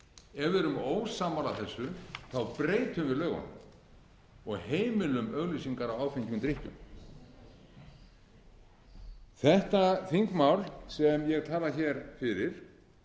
ef við erum ósammála þessu breytum við lögunum og heimilum auglýsingar á áfengum drykkjum þetta þingmál sem ég tala hér fyrir en